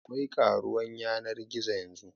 Akwai karuwan yanar gizo yanzu